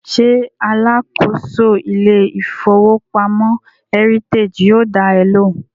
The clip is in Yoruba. Ṣé alákòóso ilé ìfowópamọ́ Heritage yóò dá ẹ lóhùn?